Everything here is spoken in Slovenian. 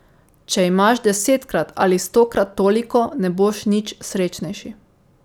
Če imaš desetkrat ali stokrat toliko, ne boš nič srečnejši.